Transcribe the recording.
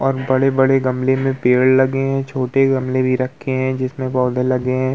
और बड़े-बड़े गमले में पेड़ लगे हैं। छोटे गमले भी रखे हैं जिसमें पौधे लगे हैं।